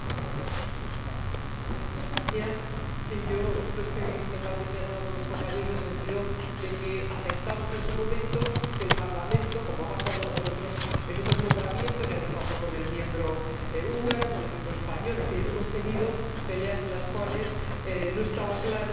Señor Presidente, yo no estoy totalmente de acuerdo con mis compañeros en el sentido de que aceptamos en su momento que el Parlamento, como ha pasado en otros nombramientos —ya nos pasó con el miembro húngaro, con el miembro español— es decir, hemos tenido peleas en las cuales no estaba claro que